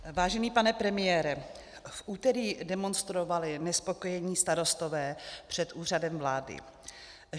Vážený pane premiére, v úterý demonstrovali nespokojení starostové před Úřadem vlády.